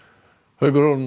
haukur